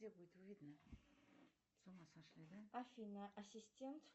афина ассистент